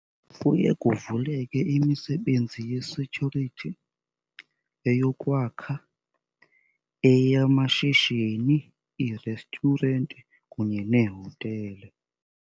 Kuye kuvuleke imisebenzi ye-security, eyokwakha, eyamashishini, ii-restaurant kunye neehotele.